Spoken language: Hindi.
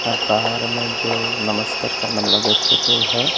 और बाहर में जो नमस्कार करने वाला भी एक पुतुल है।